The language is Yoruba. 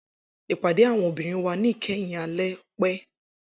Ipade awọn obinrin wa ni kẹhin ale pẹ.